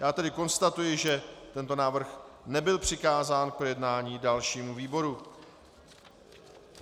Já tedy konstatuji, že tento návrh nebyl přikázán k projednání dalšímu výboru.